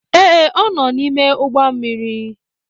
Ee, ọ nọ n'ime ụgbọ mmiri.